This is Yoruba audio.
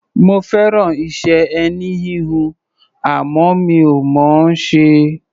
Mo fẹ́ràn iṣẹ́ ẹní-híhun, àmọ́ mi ò mọ̀ ọ́n ṣe.